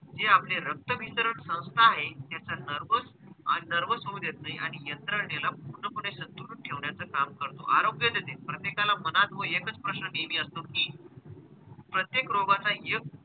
जे आपले रक्तभिसरण संस्था आहेत त्यांचं nervous आणि nervous होऊ देत नाही आणि यंत्रणेला पूर्णपणे सदृढ ठेवण्याचं काम करतो, आरोग्य देते. प्रत्येकाला मनात व एकच प्रश्न नेहमी असतो कि प्रत्येक रोगाचा एक,